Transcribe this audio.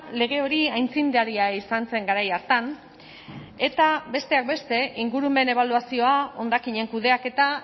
lege hori aitzindaria izan zen garai hartan eta besteak beste ingurumen ebaluazioa hondakinen kudeaketa